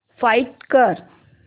find कर